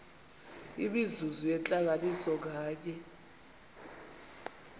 imizuzu yentlanganiso nganye